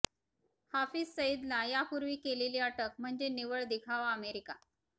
हाफिज सईदला यापूर्वी केलेली अटक म्हणजे निव्वळ दिखावाः अमेरिका